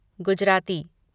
Gujarati